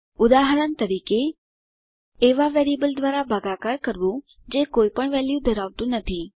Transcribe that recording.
ઉદાહરણ તરીકે160 000629 000602 એવા વેરિયેબલ દ્વારા ભાગાકાર કરવું જે કોઈપણ વેલ્યુ ધરાવતું નથી